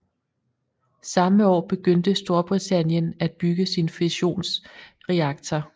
Samme år begyndte Storbritanien at bygge sin fusionsreaktor